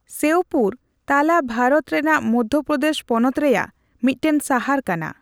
ᱥᱮᱣᱯᱩᱨ ᱛᱟᱞᱟ ᱵᱷᱟᱨᱚᱛ ᱨᱮᱱᱟᱜ ᱢᱚᱫᱽᱫᱷᱭᱚ ᱯᱨᱚᱫᱮᱥ ᱯᱚᱱᱚᱛ ᱨᱮᱭᱟᱜ ᱢᱤᱫᱴᱟᱝ ᱥᱟᱦᱟᱨ ᱠᱟᱱᱟ ᱾